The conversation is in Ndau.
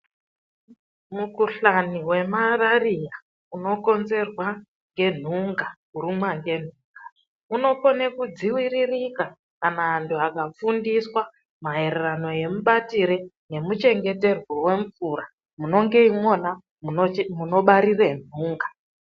Mukhuhlani wemarariya unokonzerwa ngenhunga, kurumwa ngenhunga unokone kudziiririka kana vantu vakafundiswe maererano nemabatire nemachengeterwo emumvura munenge imwona munobarire nhunga.